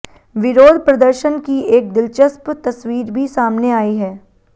विरोध प्रदर्शन की एक दिलचस्प तस्वीर भी सामने आई है